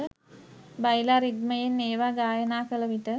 බයිලා රිද්මයෙන් ඒවා ගායනා කළ විට